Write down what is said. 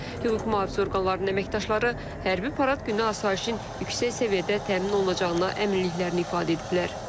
Hüquq mühafizə orqanlarının əməkdaşları hərbi parad günü asayişin yüksək səviyyədə təmin olunacağına əminliklərini ifadə ediblər.